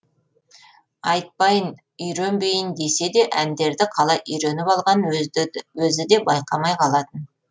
айтпайын үйренбейін десе де әндерді қалай үйреніп алғанын өзі де байқамай қалатын